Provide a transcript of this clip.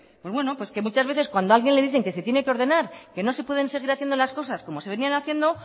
pues bueno que muchas veces cuando a alguien le dicen que se tiene que ordenar que no se pueden seguir haciendo las cosas como se venían haciendo